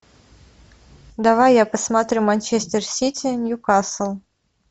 давай я посмотрю манчестер сити ньюкасл